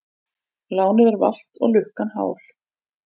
Lánið er valt og lukkan hál.